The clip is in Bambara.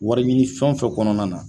Wari ɲini fɛn o fɛn kɔnɔna na